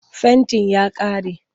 Fentin ya ƙare.